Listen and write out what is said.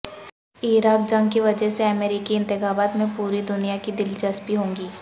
عراق جنگ کی وجہ سے امریکی انتخابات میں پوری دنیا کی دلچسپی ہوگی